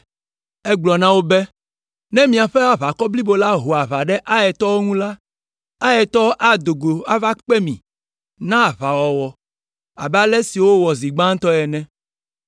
Egagblɔ na wo be, “Ne míaƒe aʋakɔ blibo la ho aʋa ɖe Aitɔwo ŋu la, Aitɔwo ado go ava kpe mí na aʋawɔwɔ abe ale si wowɔ zi gbãtɔ ene.